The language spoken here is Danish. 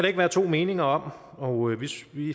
ikke være to meninger om og